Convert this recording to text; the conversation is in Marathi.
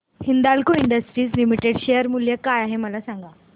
हिंदाल्को इंडस्ट्रीज लिमिटेड शेअर मूल्य काय आहे मला सांगा